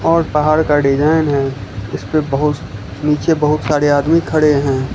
और पहाड़ का डिजाइन है इसपे बहुत नीचे बहुत सारे आदमी खड़े हैं।